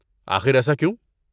آخر ایسا کیوں؟